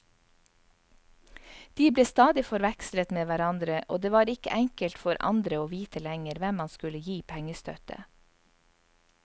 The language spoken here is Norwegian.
De ble stadig forvekslet med hverandre, og det var ikke enkelt for andre å vite lenger hvem man skulle gi pengestøtte.